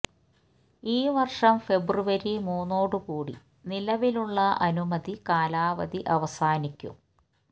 ഈ വര്ഷം ഫെബ്രുവരി മൂന്നോടു കൂടി നിലവിലുള്ള അനുമതി കാലാവധി അവസാനിക്കും